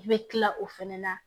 I bɛ tila o fana na